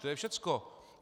To je všecko.